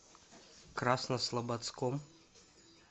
краснослободском